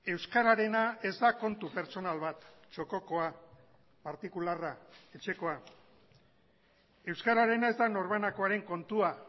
euskararena ez da kontu pertsonal bat txokokoa partikularra etxekoa euskararena ez da norbanakoaren kontua